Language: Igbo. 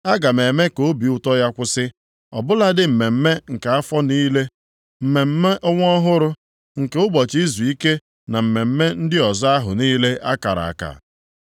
Aga m eme ka obi ụtọ ya kwụsị; ọ bụladị mmemme nke afọ niile, mmemme ọnwa ọhụrụ, nke ụbọchị izuike na mmemme ndị ọzọ ahụ niile a kara aka.